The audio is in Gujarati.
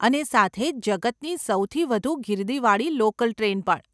અને સાથે જ જગતની સૌથી વધુ ગીર્દીવાળી લોકલ ટ્રેન પણ.